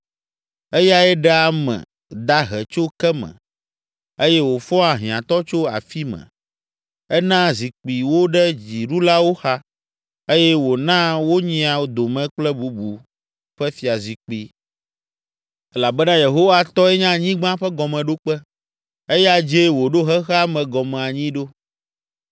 Eyae ɖea ame dahe tso ke me eye wòfɔa hiãtɔ tso afi me enaa zikpui wo ɖe dziɖulawo xa eye wònaa wonyia dome kple bubu ƒe fiazikpui. “Elabena Yehowa tɔe nye anyigba ƒe gɔmeɖokpe; eya dzie wòɖo xexea me gɔme anyi ɖo.